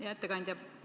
Hea ettekandja!